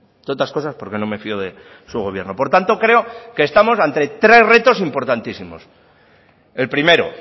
entre otras cosas porque no me fío de su gobierno por tanto creo que estamos ante tres retos importantísimos el primero